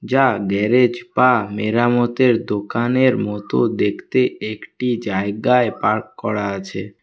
যা গ্যারেজ বা মেরামতের দোকানের মতো দেখতে একটি জায়গায় পার্ক করা আছে।